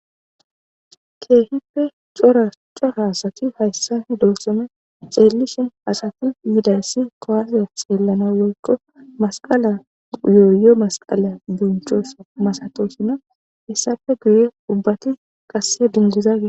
keehippe cora cora asati hayssani doosome ceellishin haxati yidayssi kowase xeellana loykko masqala yooyyo masqala gonchosa masatosino hessafe guye ubbati qasse dindizagie